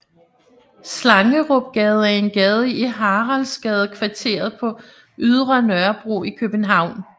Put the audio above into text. Slangerupgade er en gade i Haraldsgadekvarteret på Ydre Nørrebro i København